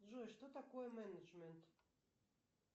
джой что такое менеджмент